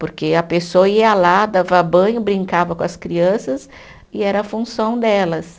Porque a pessoa ia lá, dava banho, brincava com as crianças e era a função delas.